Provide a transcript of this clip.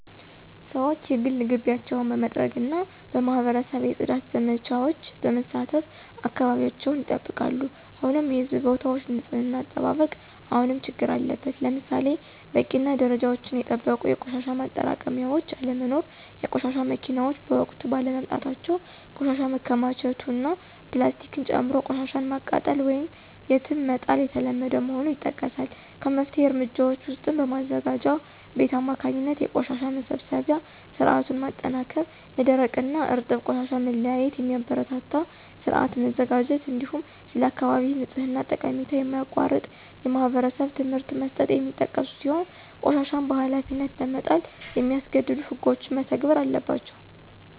ሰዎች የግል ግቢያቸውን በመጥረግና በማኅበረሰብ የፅዳት ዘመቻዎች በመሳተፍ አካባቢያቸውን ይጠብቃሉ። ሆኖም የሕዝብ ቦታዎች ንፅህና አጠባበቅ አሁንም ችግር አለበት። ለምሳሌ በቂና ደረጃቸውን የጠበቁ የቆሻሻ ማጠራቀሚያዎች አለመኖር፣ የቆሻሻ መኪናዎች በወቅቱ ባለመምጣታቸው ቆሻሻ መከማቸቱ እና ፕላስቲክን ጨምሮ ቆሻሻን ማቃጠል ወይም የትም መጣል የተለመደ መሆኑ ይጠቀሳል። ከመፍትሄ እርምጃዎች ውስጥም በማዘጋጃ ቤት አማካኝነት የቆሻሻ መሰብሰቢያ ሥርዓቱን ማጠናከር፣ ለደረቅና እርጥብ ቆሻሻ መለያየትን የሚያበረታታ ሥርዓት መዘርጋት፣ እንዲሁም ስለ አካባቢ ንጽሕና ጠቀሜታ የማያቋርጥ የማኅበረሰብ ትምህርት መስጠት የሚጠቀሱ ሲሆን ቆሻሻን በኃላፊነት ለመጣል የሚያስገድዱ ሕጎችም መተግበር አለባቸው።